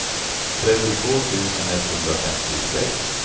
trettiotvå tusen etthundrafemtiosex